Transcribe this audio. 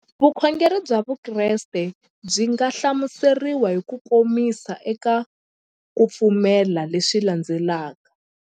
Vukhongeri bya Vukreste byi nga hlamuseriwa hi kukomisa eka ku pfumela leswi landzelaka.